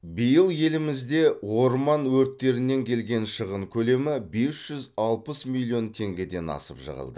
биыл елімізде орман өрттерінен келген шығын көлемі бес жүз алпыс миллион теңгеден асып жығылды